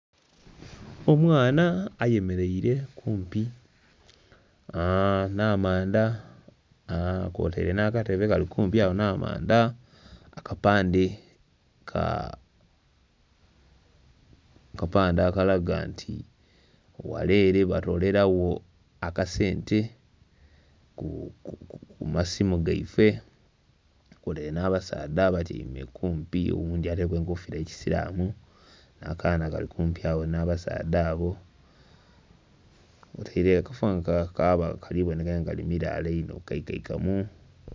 Omwana ayemeleire kumpi nh'amanda, kwotaire nh'akatebe kali kumpi agho nh'amanda. Akapande ka...Akapande akalaga nti ghale ele batoolerawo akasente ku masimu gaife. Tukubonheire nh'abasaadha abatyaime kumpi oghundhi ataileku enkofiira eyekisilamu, akaana kali kumpi agho nh'abasaadha abo, kaaba kali boneka nga kali milaala inho kaikaikamu.